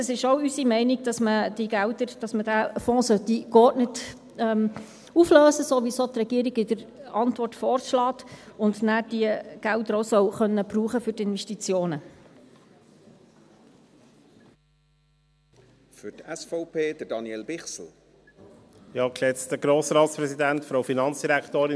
Es ist auch unsere Meinung, dass man diese Gelder, diesen Fonds geordnet auflösen sollte, so wie es die Regierung in ihrer Antwort vorschlägt, und man soll diese Gelder danach auch für die Investitionen verwenden können.